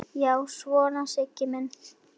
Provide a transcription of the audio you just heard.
Já, svona var Sigga!